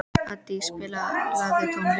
Addý, spilaðu tónlist.